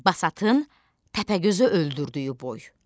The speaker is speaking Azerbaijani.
Basatın Təpəgözü öldürdüyü boy.